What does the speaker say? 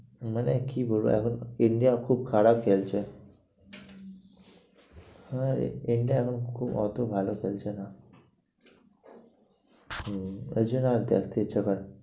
মানে কি বলবো এখন India খুব খারাপ খেলছে। হ্যাঁ India এখন খুব অত ভালো খেলছে না। হম ওই জন্য আর দেখতে ইচ্ছা করে না।